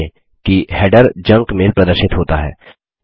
ध्यान दें कि हेडर जंक मैल प्रदर्शित होता है